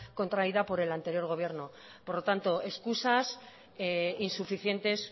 contraída por el anterior gobierno por lo tanto excusas insuficientes